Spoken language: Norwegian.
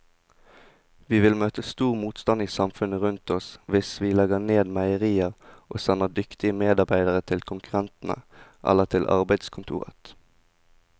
Vi vil møte stor motstand i samfunnet rundt oss hvis vi legger ned meierier og sender dyktige medarbeidere til konkurrentene eller til arbeidskontoret.